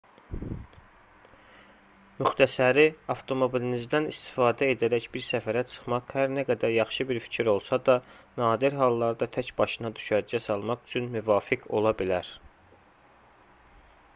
müxtəsəri avtomobilinizdən istifadə edərək bir səfərə çıxmaq hər nə qədər yaxşı fikir olsa da nadir hallarda tək başına düşərgə salmaq üçün müvafiq ola bilər